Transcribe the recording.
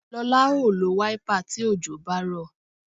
Lọlá ó lo wáípà tí òjò bá rọ̀